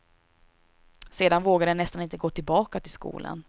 Sedan vågade jag nästan inte gå tillbaka till skolan.